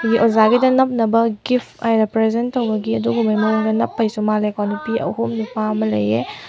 ꯑꯣꯖꯥꯒꯤꯗ ꯅꯞꯅꯥꯕ ꯒꯤꯐ ꯑꯣꯏꯅ ꯄ꯭ꯔꯖꯦꯟ ꯇꯧꯕꯒꯤ ꯑꯗꯨꯒꯨꯝꯕ ꯃꯑꯣꯡꯗ ꯅꯞꯄꯥꯒꯤꯁꯨ ꯃꯜꯂꯦꯀꯣ ꯅꯨꯄꯤ ꯑꯍꯨꯝ ꯅꯨꯄꯥ ꯑꯃ ꯂꯩꯌꯦ꯫